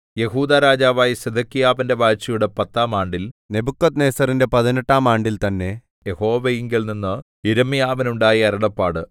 യെഹൂദാ രാജാവായ സിദെക്കീയാവിന്റെ വാഴ്ചയുടെ പത്താം ആണ്ടിൽ നെബൂഖദ്നേസരിന്റെ പതിനെട്ടാം ആണ്ടിൽ തന്നെ യഹോവയിങ്കൽനിന്ന് യിരെമ്യാവിനുണ്ടായ അരുളപ്പാട്